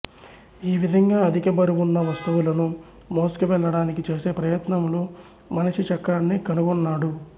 ఈ విధంగా అధిక బరువున్న వస్తువులను మోసుకు వెళ్ళడానికి చేసే ప్రయత్నంలో మనిషి చక్రాన్ని కనుగొన్నాడు